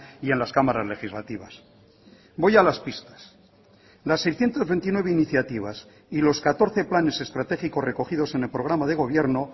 y en las cámaras legislativas voy a las pistas las seiscientos veintinueve iniciativas y los catorce planes estratégicos recogidos en el programa de gobierno